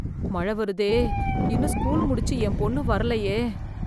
மழ வருதே இன்னும் ஸ்கூல் முடிச்சு என் பொண்ணு வரலையே!